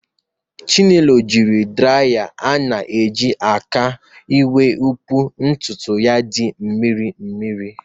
Chinelo jiri draya ana-eji n'aka wee kpoo ntutu ya dị mmiri mmiri